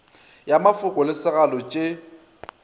ya mafoko le segalo tše